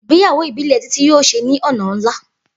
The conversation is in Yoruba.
Igbeyawo ibile Titi yoo ṣe ni ọna nla.